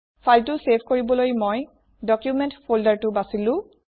ফাইলটো চেভ কৰিবলৈ মই ডকুমেণ্ট folderটো বাচিলো